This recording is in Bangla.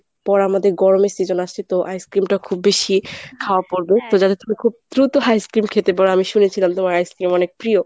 পর আমাদের গরমের season আসছে তো ice-cream টা খুব বেশি খাওয়া পরবে তো যাতে তুমি খুব দ্রুত ice-cream খেতে পারো। আমি শুনেছিলাম তোমার ice-cream অনেক প্রিয়।